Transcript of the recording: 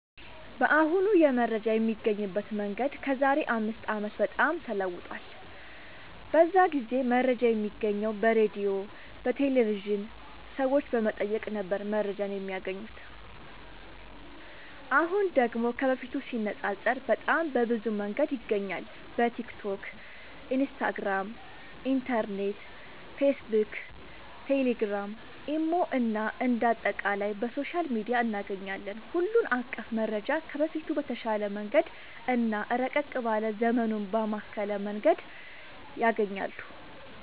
በአሁኑ የመረጃ የሚገኝበት መንገድ ከዛሬ አምስት አመት በጣም ተለውጧል። በዛ ጊዜ መረጃ የሚገኘው በሬድዮ፣ በቴሌቭዥን፣ ሰዎች በመጠየቅ ነበር መረጃን የማያገኙት። አሁን ደግሞ ከበፊቱ ሲነፃፀር በጣም በብዙ መንገድ ይገኛል በቲክቶክ፣ ኢንስታግራም፣ ኢንተርኔት፣ ፌስብክ፣ ቴሌግራም፣ ኢሞ እና አንደ አጠቃላይ በሶሻል ሚዲያ እናገኛለን ሁሉን አቀፍ መረጃ ከበፊቱ በተሻለ መንገድ እና ረቀቅ ባለ ዘመኑን ባማከለ መንገድ ያገኛሉ።